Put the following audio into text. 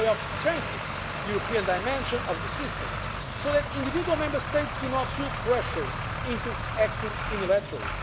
This is a way of strengthening the European dimension of the system so that individual Member States do not feel pressured into acting unilaterally.